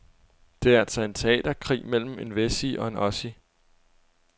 Det er altså en teaterkrig mellem en wessie og en ossie.